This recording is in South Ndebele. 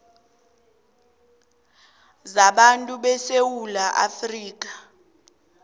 zabantu besewula afrika